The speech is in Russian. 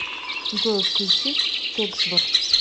джой включи кексбр